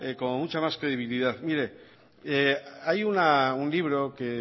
como mucha más credibilidad mire hay un libro que